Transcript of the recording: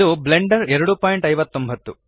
ಇದು ಬ್ಲೆಂಡರ್ 259